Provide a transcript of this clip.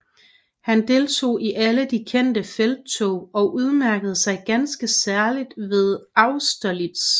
Han deltog i alle de kendte felttog og udmærkede sig ganske særlig ved Austerlitz